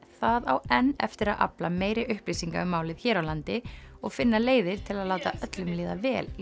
það á enn eftir að afla meiri upplýsinga um málið hér á landi og finna leiðir til að láta öllum líða vel í